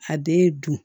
A den ye dun